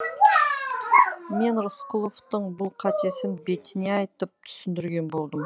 мен рысқұловтың бұл қатесін бетіне айтып түсіндірген болдым